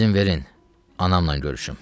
İzin verin, anamla görüşüm.